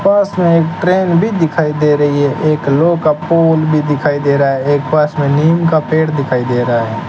पास में एक ट्रेन भी दिखाई दे रही है एक लो का पूल भी दिखाई दे रहा है एक पास में नीम का पेड़ दिखाई दे रहा है।